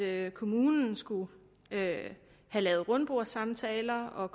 at kommunen skulle have lavet rundbordssamtaler og